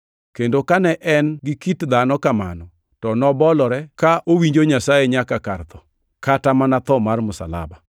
Kendo kane en gi kit dhano kamano, to nobolore, ka owinjo Nyasaye nyaka kar tho, kata mana tho mar msalaba!